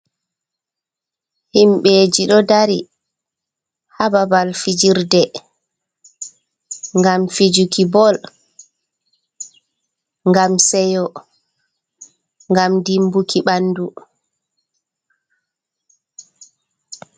Himbeji ɗo dari ha babal fijirde, gam fijuki bol, gam seyo, gam dimbuki ɓandu.